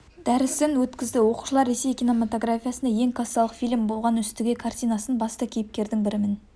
дәрісін өткізді оқушылар ресей киноматографиясында ең кассалық фильм болған үстіге картинасын басты кейіпкердің бірімен